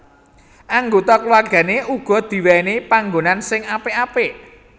Anggota kulawargané uga diwèhi panggonan sing apik apik